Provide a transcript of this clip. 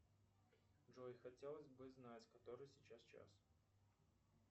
джой хотелось бы знать который сейчас час